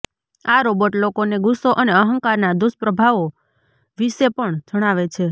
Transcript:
આ રોબોટ લોકોને ગુસ્સો અને અહંકારના દુષ્પ્રભાવો વિશે પણ જણાવે છે